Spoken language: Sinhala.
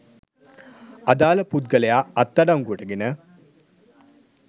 අදාළ පුද්ගලයා අත්අඩංගුවට ගෙන